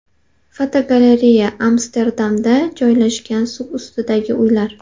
Fotogalereya: Amsterdamda joylashgan suv ustidagi uylar.